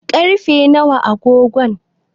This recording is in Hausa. karfe nawa a agogon?